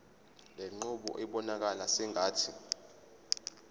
lenqubo ibonakala sengathi